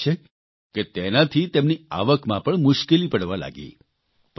સ્વાભાવિક છે કે તેનાથી તેમની આવકમાં પણ મુશ્કેલી પડવા લાગી